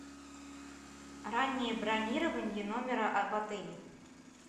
раннее бронирование номера в отеле